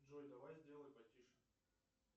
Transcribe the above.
джой давай сделай потише